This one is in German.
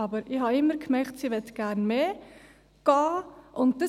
Aber ich merkte immer, dass sie gerne mehr arbeiten gehen wollte.